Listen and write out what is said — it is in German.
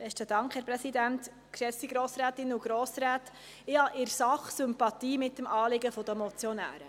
Ich habe in der Sache Sympathie für das Anliegen der Motionäre.